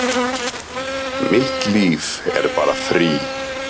Mitt líf er bara frí